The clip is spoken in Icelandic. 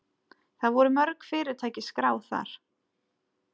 Það voru mörg fyrirtæki skráð þar